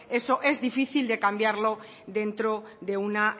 eso es difícil de cambiarlo dentro de una